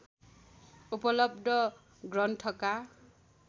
उपलब्ध ग्रन्थका